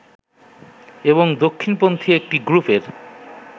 এবং দক্ষিণ পন্থী একটি গ্রুপের